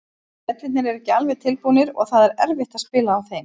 Vellirnir eru ekki alveg tilbúnir og það er erfitt á spila á þeim.